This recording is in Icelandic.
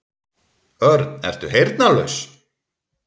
Örn, ertu heyrnarlaus?